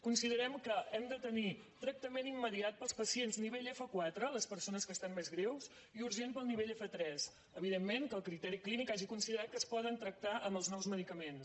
considerem que hem de tenir tractament im·mediat per als pacients nivell f4 les persones que es·tan més greus i urgent per al nivell f3 evidentment que el criteri clínic hagi considerat que es poden trac·tar amb els nous medicaments